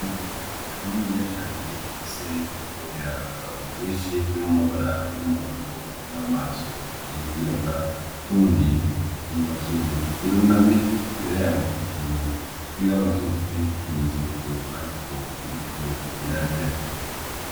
Ibeba anene iya cane ifise ubwoya bwinshi burimwo amabara y'umuhondo n'amaso yirabura rundi ku mazuru irunamye imbere ya bo hari utunu twirabura twerekana ikimenyetso yuko aritwo iriko irarya.